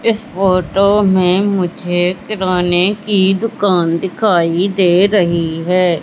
इस फोटो में मुझे किराने की दुकान दिखाई दे रही है।